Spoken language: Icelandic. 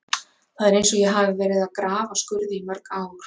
Það er eins og ég hafi verið að grafa skurði í mörg ár.